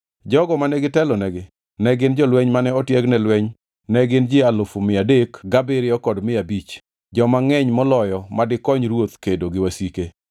Jogo mane gitelonegi ne gin jolweny mane otieg ne lweny ne gin ji alufu mia adek gabiriyo kod mia abich, joma ngʼeny moloyo madikony ruoth kedo gi wasike.